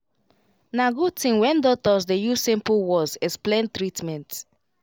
na good thing when doctors dey use simple words explain treatment